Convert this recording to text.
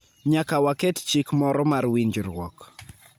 Nyaka waket chik moro mar winjruok.